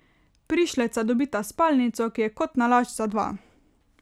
Prišleca dobita spalnico, ki je kot nalašč za dva.